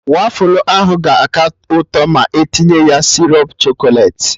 Wafụlụ ahụ ga-aka ụtọ ma etinye ya sịrọp chọkọlet